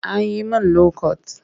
A yi min lokot